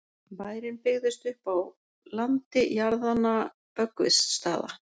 bærinn byggðist upp á landi jarðanna böggvisstaða